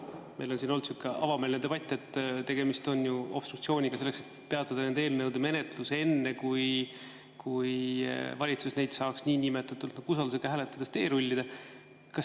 Meil on siin olnud avameelne debatt, et tegemist on ju obstruktsiooniga, selleks et peatada nende eelnõude menetlus enne, kui valitsus saaks neid niinimetatud usaldusega hääletades teerullida.